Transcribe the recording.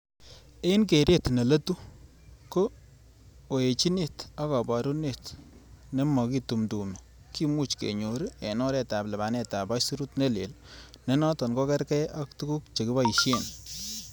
En keret ne leetu, ko oechinet ak koburet nemokitumdumdum kimuche kenyor en oretab lipanet ab aisurut ne leel, ne noton ko kergei ak tuguk che kiboishen.